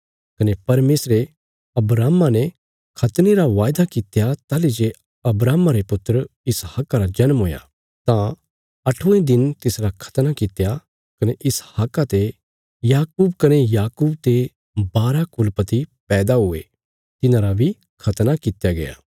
कने परमेशरे अब्राहमा ने खतने रा वायदा कित्या ताहली जे अब्राहमा रे पुत्र इसहाका रा जन्म हुया तां अठवें दिन तिसरा खतना कित्या कने इसहाका ते याकूब कने याकूब ते बारा कुलपति पैदा हुये तिन्हांरा बी खत़ना कित्या गया